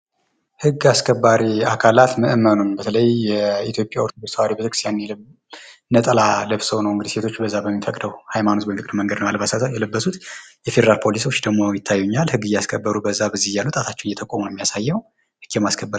ህግ አስከባሪ አካላት ምእመኑን የኢትዮጵያ ኦርቶዶክስ ተዋህዶ ቤተ-ክርስቲያን ነጠላ ለብሰው ሴቶች እንግዲህ በዚያ በሚፈቅደው ህይማኖት በሚፈቅደው አልባሳት ነው የለበሱት። የፌደራል ፖሊሶች እግሞ ይታዩኛል። ህግ እያስከበሩ በዚያ በዚህ እያሉ እየጠቆሙ ነው የሚያሳየው። ህግ የማስከበር...